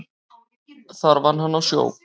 Þar vann hann á sjó.